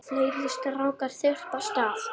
Fleiri strákar þyrpast að.